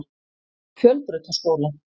Fjölbrautaskóla